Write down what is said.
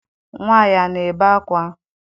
Nnwa ya ana ebe ákwá?